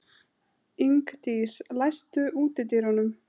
Ingdís, læstu útidyrunum.